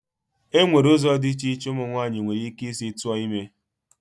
Enwere ụzọ dị iche iche umu nwaanyị nwere ike isi tụọ ime.